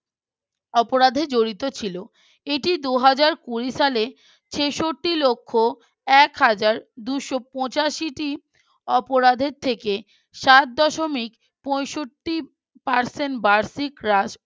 অপরাধে জড়িত ছিল এটি দুই হাজার কুরি সালের ছেষট্টি লক্ষ এক হাজার দুশো পঁচিশ টি অপরাধের থেকে সাথ দশমিক পঁয়ষট্টি percent বার্ষিক রাশ